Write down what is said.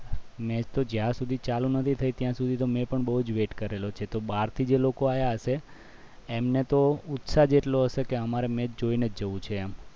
match જીયાર સુધી ચાલુ ન થઈ ત્યાં સુધી તો મેં પણ બહુ જ wait કરી છે બહારથી જ લોકો આવ્યા હશે એમને તો ઉત્સાહ જેટલો હશે કે અમારે તો match મેં જોઈને જવું છે